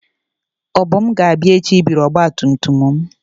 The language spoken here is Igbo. Obum ga-abia echi ibiri ọgba tum tum m.